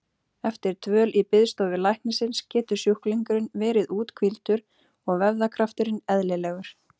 Eftir dvöl í biðstofu læknisins getur sjúklingurinn verið úthvíldur og vöðvakrafturinn eðlilegur.